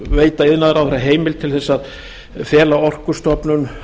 veita iðnaðarráðherra heimild til þess að fela orkustofnun